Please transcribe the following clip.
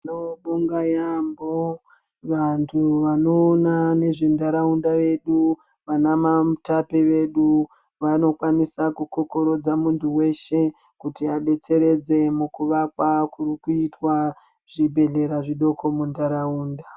Tinobonga yamho vantu vanoona nezve ntaraunda vedu vana ma mutape vedu vanokwanisa kukokorodza muntu weshe kuti adetseredze kuvakwa kuri kuitwa zvibhehlera zvidoko muntaraunda .